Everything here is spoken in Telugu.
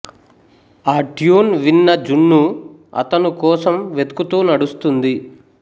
ఆ ట్యూన్ విన్న జున్ను అతను కోసం వెతుకుతూ నడుస్తుంది